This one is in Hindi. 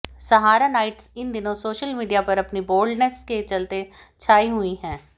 सहारा नाइट्स इन दिनों सोशल मीडिया पर अपनी बोल्डनेस के चलते छाई हुई हैं